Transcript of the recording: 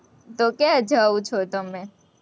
તો ક્યાં જાવ છો, તમે?